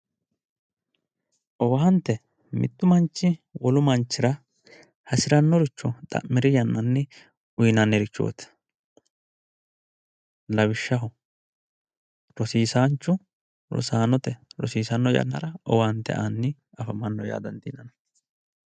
owaante mittu manchi wolu manchira hasirannoricho xa'miri yannanni uyiinannirichooti lawishshaho rosiisaanchu rosaanote rosiisanno yannara owaante aanni afamanno yaa dandiinanni.